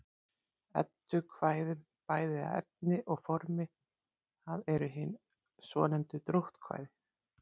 Eddukvæðum bæði að efni og formi, það eru hin svonefndu dróttkvæði.